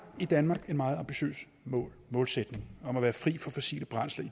i danmark en meget ambitiøs målsætning om at være fri for fossile brændsler i